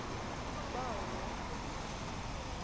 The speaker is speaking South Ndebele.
bawo woke umuntu